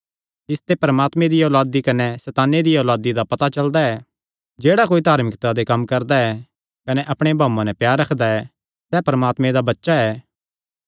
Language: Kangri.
इसते परमात्मे दिया औलादी कने सैताने दिया औलादी दा पता चलदा ऐ जेह्ड़ा कोई धार्मिकता दे कम्म करदा ऐ कने अपणे भाऊये नैं प्यार रखदा सैह़ परमात्मे दा बच्चा ऐ